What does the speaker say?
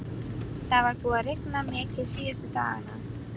Það var búið að rigna mikið síðustu daga.